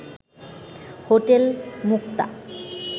hotel Mukta